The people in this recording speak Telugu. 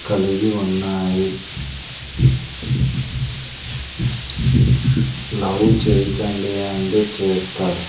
కలిగి ఉన్నాయి లవ్ చేయకండి అంటే చేస్తారు.